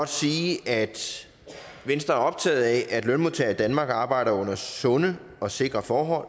sige at venstre er optaget af at lønmodtagere i danmark arbejder under sunde og sikre forhold